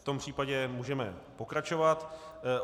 V tom případě můžeme pokračovat.